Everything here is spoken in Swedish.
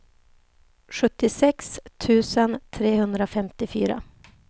sjuttiosex tusen trehundrafemtiofyra